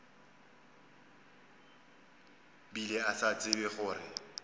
bile a sa tsebe gore